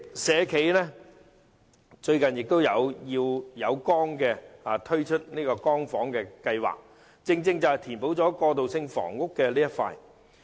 社企"要有光"最近推出"光房"計劃，正正填補了過渡性房屋的空缺之處。